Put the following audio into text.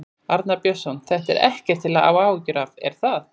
Arnar Björnsson: Þetta er ekkert til að hafa áhyggjur af, er það?